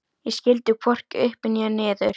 Ég skildi hvorki upp né niður.